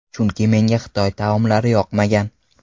Chunki menga Xitoy taomlari yoqmagan.